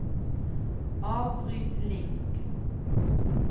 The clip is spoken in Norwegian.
avbryt link